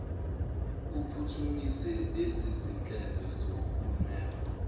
uphuthumise lezizinhlelo zokunweba